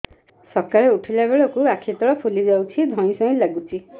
ସକାଳେ ଉଠିଲା ବେଳକୁ ଆଖି ତଳ ଫୁଲି ଯାଉଛି ଧଇଁ ସଇଁ ଲାଗୁଚି